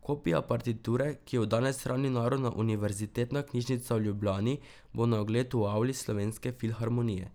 Kopija partiture, ki jo danes hrani Narodna univerzitetna knjižnica v Ljubljani, bo na ogled v avli Slovenske filharmonije.